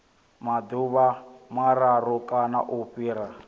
maḓuvha mararu kana u fhira